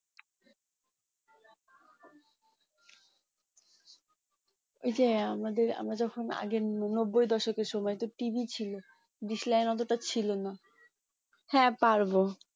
ওই যে আমাদের আমাদের সময় আগে নব্বই দশকের সময় তো TV ছিল dish line অতটা ছিল না হ্যাঁ পারবো